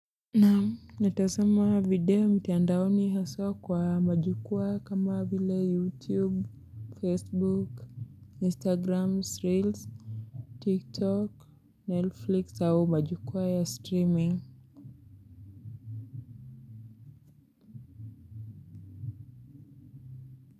Natazama video mtandaoni haswa kwa majukwaa kama vile youtube facebook instagram reels tik tok netflix au majukwaa ya streaming.